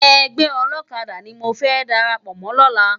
Ègbè òlòkàdá ni mó fè dàrápò mò lòlá